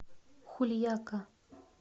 хульяка